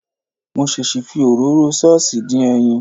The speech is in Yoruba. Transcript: Mo ṣèṣì fi òróró ṣọ́ọ̀ṣì dín ẹyin.